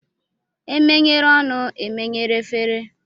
E menyere ọnụ, e menyere efere